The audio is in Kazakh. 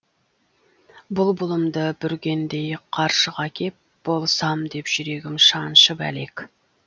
бұлбұлымды бүргендей қаршыға кеп болсам деп жүрегім шаншып әлек